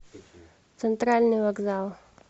центральный вокзал